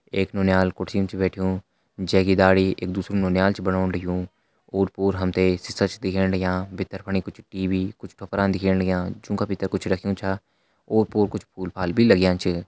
एक नौनियाल कुर्सीम छ बैठ्युं जे की दाढ़ी एक दुसरु नौनियाल छ बनोंण लग्युं और पोर हम तें शीसा छ दिखेण लग्यां भितर फणी कुछ टीवी कुछ ठुपरा दिखेण लग्यां जुं का भितर कुछ रख्यां छ ओर पोर कुछ फूल फाल भी लग्यां च।